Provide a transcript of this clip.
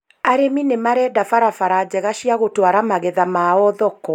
Arĩmi nĩmarenda barabara njega cia gũtwara magetha mao thoko